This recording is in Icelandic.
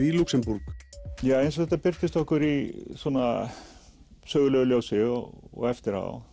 í Lúxemborg ja eins og þetta birtist okkur í svona sögulegu ljósi og eftir á